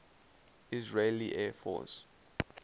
israeli air force